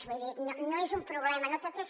vull dir no és un problema no tot és